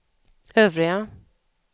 övriga